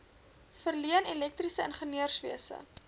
verleen elektriese ingenieurswese